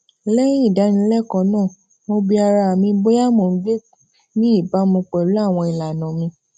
lẹyìn ìdánilẹkọọ náà mo bi ara mi bóyá mò ń gbé ní ìbámu pẹlú àwọn ìlànà mi